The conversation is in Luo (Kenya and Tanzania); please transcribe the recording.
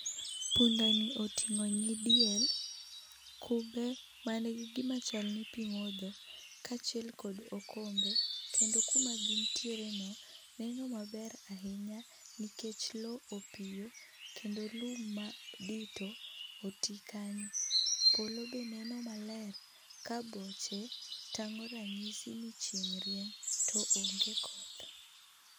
Punda ni oting'o nyidiel gi kube ma ni gi gi ma chal ni pi modho kachiel kod okombe kendo ku ma gi nitire no neno maber ahinya nikech loo opiyo kendo lum ma dito oti kanyo, polo be neno maler ka boche tang'o rang'isi ni chieng' rieny to onge koth.